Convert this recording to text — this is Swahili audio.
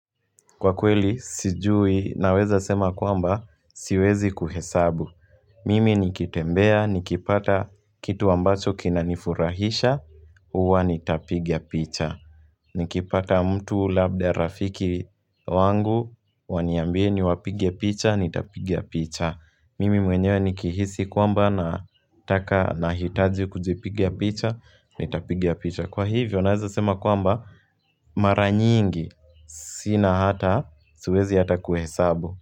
Kwa kweli sijui naweza sema kwamba siwezi kuhesabu mimi nikitembea nikipata kitu ambacho kinanifurahisha huwa nitapigia picha, nikipata mtu labda rafiki wangu waniambie niwapige picha nitapiga picha. Mimi mwenyewe nikihisi kwamba nataka nahitaji kujipiga picha nitapiga picha. Kwa hivyo, naweza sema kwamba mara nyingi, sina hata, siwezi hata kuhesabu.